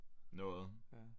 Noget